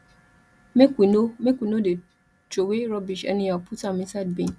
make we no make we no dey troway rubbish anyhow put am inside bin